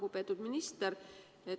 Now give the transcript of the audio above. Lugupeetud minister!